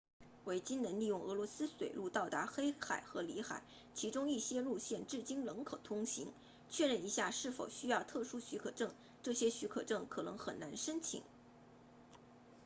维京人利用俄罗斯水路到达黑海和里海其中一些路线至今仍可通行确认一下是否需要特殊许可证这些许可证可能很难申请